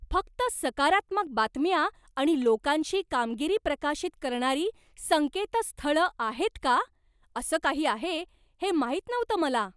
फक्त सकारात्मक बातम्या आणि लोकांची कामगिरी प्रकाशित करणारी संकेतस्थळं आहेत का? असं काही आहे हे माहित नव्हतं मला.